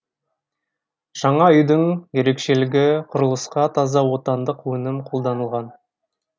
жаңа үйдің ерекшелігі құрылысқа таза отандық өнім қолданылған